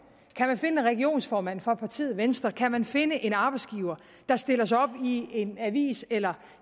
kan man finde en regionsformand fra partiet venstre kan man finde en arbejdsgiver der stiller sig op i en avis eller